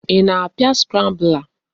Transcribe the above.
Ị na-apịa scrambler?